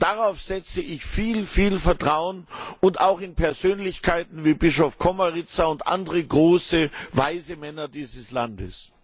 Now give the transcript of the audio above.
Darauf setze ich viel, viel Vertrauen, und auch in Persönlichkeiten wie Bischof Komarica und andere große, weise Männer dieses Landes.